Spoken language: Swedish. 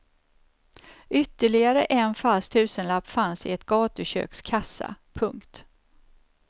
Ytterligare en falsk tusenlapp fanns i ett gatuköks kassa. punkt